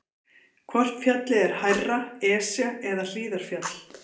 Hvort fjallið er hærra, Esja eða Hlíðarfjall?